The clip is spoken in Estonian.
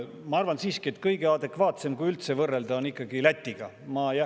Ma arvan siiski, et kõige adekvaatsem, kui üldse võrrelda, on ikkagi Lätiga.